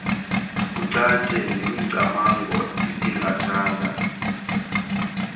kucace nemicamango ebingathanga